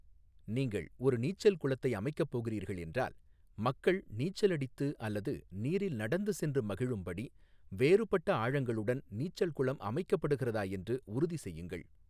நீங்கள் ஒரு நீச்சல் குளத்தை அமைக்கப் போகிறீர்கள் என்றால், மக்கள் நீச்சல் அடித்து அல்லது நீரில் நடந்து சென்று மகிழும்படி வேறுபட்ட ஆழங்களுடன் நீச்சல் குளம் அமைக்கப்படுகிறதா என்று உறுதிசெய்யுங்கள்.